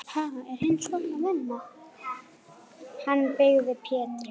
Hann byggði Pétri